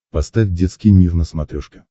поставь детский мир на смотрешке